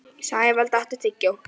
Sævald, áttu tyggjó?